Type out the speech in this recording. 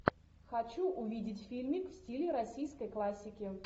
хочу увидеть фильмик в стиле российской классики